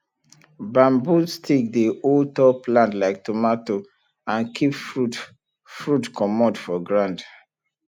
bamboo stick dey hold tall plant like tomato and keep fruit fruit comot for ground